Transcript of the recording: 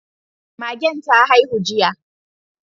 Magen ta haihu jiya